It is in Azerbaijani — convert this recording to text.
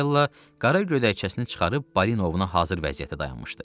Fedella qara gödəkcəsini çıxarıb balina ovuna hazır vəziyyətdə dayanmışdı.